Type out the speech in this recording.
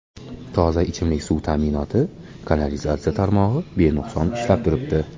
Toza ichimlik suv ta’minoti, kanalizatsiya tarmog‘i benuqson ishlab turibdi.